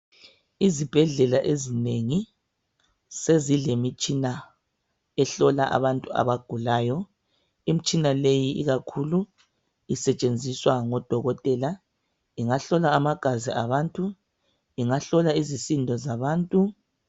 Izibhedlela ezinengi sezilemitshina ehlola abantu abagulayo. Imitshina leyi ikakhulu isetshenziswa ngo dokotela. Ingahlola amagazi abantu, ingahlola izisindo zabantu